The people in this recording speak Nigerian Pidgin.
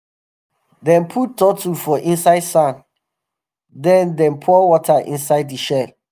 dem put turtle for inside sand then dem pour water inside the shell.